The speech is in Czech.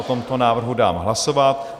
O tomto návrhu dám hlasovat.